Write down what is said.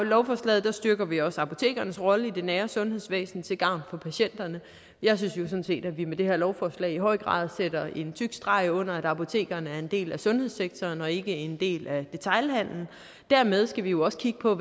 lovforslaget styrker vi også apotekernes rolle i det nære sundhedsvæsen til gavn for patienterne jeg synes jo sådan set at vi med det her lovforslag i høj grad sætter en tyk streg under at apotekerne er en del af sundhedssektoren og ikke en del af detailhandelen og dermed skal vi jo også kigge på